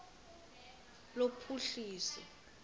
lophuhliso